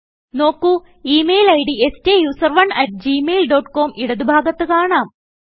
നോക്കു ഈ mail id സ്റ്റൂസറോണ് അട്ട് ഗ്മെയിൽ ഡോട്ട് കോം ഇടത് ഭാഗത്ത് കാണാം